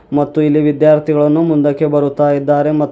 ಮತ್ತು ಇಲ್ಲಿ ವಿದ್ಯಾರ್ಥಿಗಳನ್ನು ಮುಂದಕ್ಕೆ ಬರುತ್ತಾ ಇದಾರೆ ಮ --